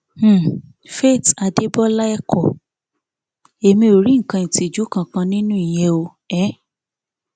um faith adébọlá ẹkọ emí ò rí nǹkan ìtìjú kankan nínú ìyẹn o um